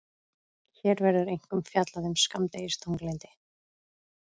Hér verður einkum fjallað um skammdegisþunglyndi.